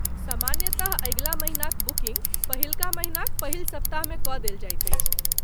सामान्यतः अगिला महिनाक बुकिन्ग पहिलका महिनाक पहिल सप्ताहमे कऽ देल जाइत अछि।